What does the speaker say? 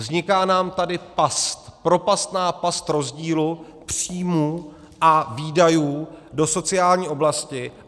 Vzniká nám tady past, propastná past rozdílu příjmů a výdajů do sociální oblasti.